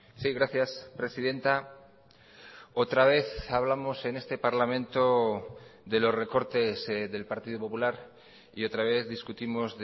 sí gracias presidenta otra vez hablamos en este parlamento de los recortes del partido popular y otra vez discutimos